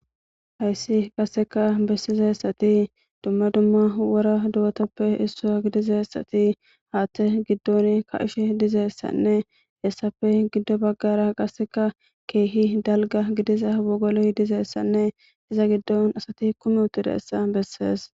Dumma dumma wora do'azappe issa gidizaysat Hatha gidon ka'ishe dizaysanne hesappe gido bagara qaseka keeh dalgan diza wogoloy dizaysanne iza gidon asat kum utidaysa beses.